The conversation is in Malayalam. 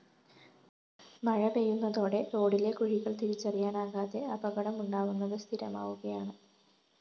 മഴ പെയ്യുന്നതോടെ റോഡിലെ കുഴികള്‍ തിരിച്ചറിയനാകാതെ അപകടമുണ്ടാവുന്നത് സ്ഥിരമാവുകയാണ്